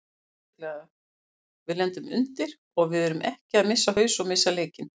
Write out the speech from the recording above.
Sérstaklega við lendum undir og við erum ekki að missa haus og missa leikinn.